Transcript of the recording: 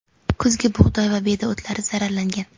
kuzgi bug‘doy va beda o‘tlari zararlangan.